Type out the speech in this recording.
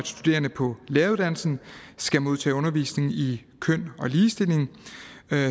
studerende på læreruddannelsen skal modtage undervisning i køn og ligestilling